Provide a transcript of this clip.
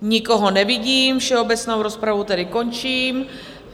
Nikoho nevidím, všeobecnou rozpravu tedy končím.